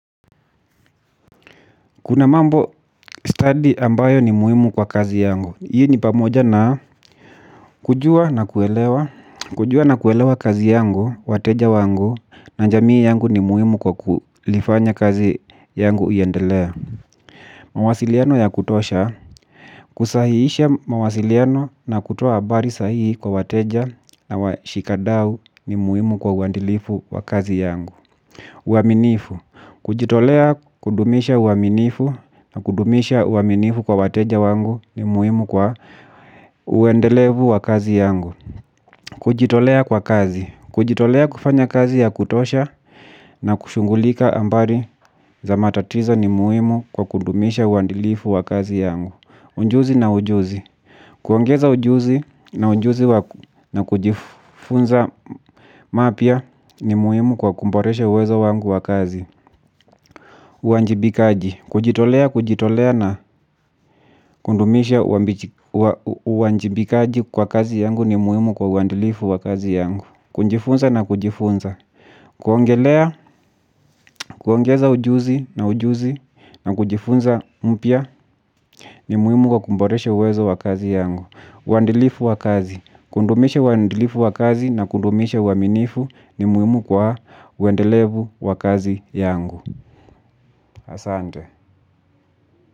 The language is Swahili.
Kuna mambo stadi ambayo ni muhimu kwa kazi yangu. Hii ni pamoja na kujua na kuelewa kazi yangu, wateja wangu, na jamii yangu ni muhimu kwa kulifanya kazi yangu iendelea. Mawasiliano ya kutosha, kusahihisha mawasiliano na kutoa habari sahihi kwa wateja na washikadau ni muhimu kwa uadilifu wa kazi yangu. Uaminifu, kujitolea kudumisha uaminifu na kudumisha uaminifu kwa wateja wangu ni muhimu kwa uendelevu wa kazi yangu. Kujitolea kwa kazi, kujitolea kufanya kazi ya kutosha na kushughulika hambari za matatizo ni muhimu kwa kudumisha uadilifu wa kazi yangu. Ujuzi na ujuzi, kuongeza ujuzi na ujuzi na kujifunza mapya ni muhimu kwa kuboresha uwezo wangu wa kazi. Uwajibikaji. Kujitolea, kujitolea na kudumisha uwajibikaji kwa kazi yangu ni muhimu kwa uadilifu wa kazi yangu. Kujifunza na kujifunza. Kuongelea, kuongeza ujuzi na ujuzi na kujifunza mpya ni muhimu kwa kuboresha uwezo wa kazi yangu. Uadilifu wa kazi, kudumisha uadilifu wa kazi na kudumisha uaminifu ni muhimu kwa uendelevu wa kazi yangu. Asante.